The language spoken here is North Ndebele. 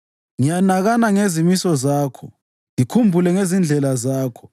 Ngiyanakana ngezimiso zakho ngikhumbule ngezindlela zakho.